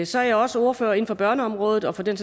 så er jeg også ordfører inden for børneområdet og for den